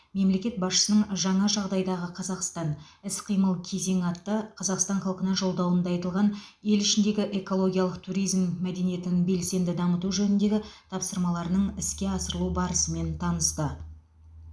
мемлекет басшысының жаңа жағдайдағы қазақстан іс қимыл кезеңі атты қазақстан халқына жолдауында айтылған ел ішіндегі экологиялық туризм мәдениетін белсенді дамыту жөніндегі тапсырмаларының іске асырылу барысымен танысты